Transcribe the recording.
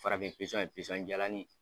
Farafin pisɔn in pisɔn jalanin in.